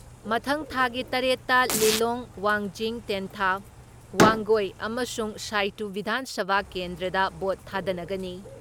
ꯃꯊꯪ ꯊꯥꯒꯤ ꯇꯔꯦꯠ ꯇ ꯂꯤꯂꯣꯡ, ꯋꯥꯡꯖꯤꯡ ꯇꯦꯟꯊꯥ, ꯋꯥꯡꯒꯣꯏ ꯑꯃꯁꯨꯡ ꯁꯥꯏꯇꯨ ꯕꯤꯙꯥꯟ ꯁꯚꯥ ꯀꯦꯟꯗ꯭ꯔꯗ ꯚꯣꯠ ꯊꯥꯗꯅꯒꯅꯤ ꯫